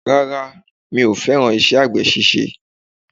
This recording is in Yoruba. Rárá, mi ò fẹ́ràn àgbè ṣíṣe.